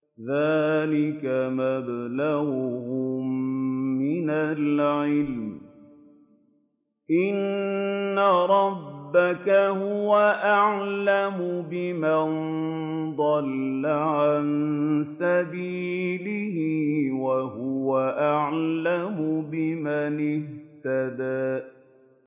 ذَٰلِكَ مَبْلَغُهُم مِّنَ الْعِلْمِ ۚ إِنَّ رَبَّكَ هُوَ أَعْلَمُ بِمَن ضَلَّ عَن سَبِيلِهِ وَهُوَ أَعْلَمُ بِمَنِ اهْتَدَىٰ